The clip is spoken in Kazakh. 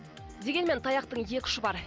дегенмен таяқтың екі ұшы бар